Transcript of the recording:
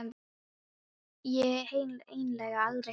Þá var ég eiginlega aldrei heima hjá mér.